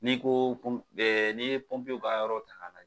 Ni ko ko n'i ye ka yɔrɔ .